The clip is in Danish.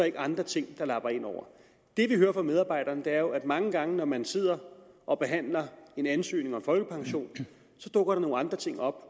ikke andre ting der lapper ind over det vi hører fra medarbejderne er jo at mange gange når man sidder og behandler en ansøgning om folkepension dukker der nogle andre ting op